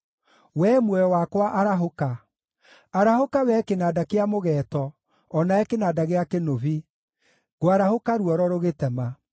Wee muoyo wakwa arahũka! Arahũka wee kĩnanda kĩa mũgeeto, o nawe kĩnanda gĩa kĩnũbi! Ngwarahũka ruoro rũgĩtema.